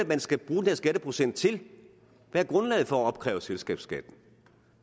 man skal bruge den skatteprocent til hvad er grundlaget for at opkræve selskabsskatten